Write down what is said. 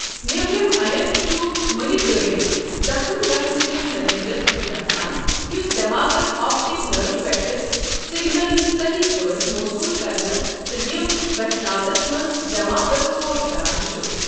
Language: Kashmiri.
نیبرِم انیر چھ مٕنہِ گٲڈِس زخٕم گژھنہٕ کس نٔتیٖجس منٛز گژھان، یس دٮ۪ماغس آپٹِک نٔرٛو پٮ۪ٹھٕ سِگنَلہٕ صحیٖح پٲٹھۍ موصوٗل كرنس تہٕ یِم ویژھناونس منٛز دٮ۪ماغس ٹھوٚر كران چھ۔